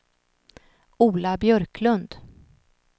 Ola Björklund